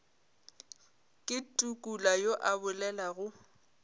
ke tukula yo a bolelago